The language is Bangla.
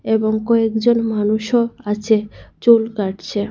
এবং কয়েকজন মানুষ ও আছে চুল কাটছে।